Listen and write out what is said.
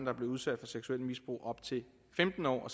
er blevet udsat for seksuelt misbrug op til femten år